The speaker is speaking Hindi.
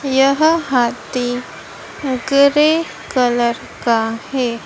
यह हाथी ग्रे कलर का है।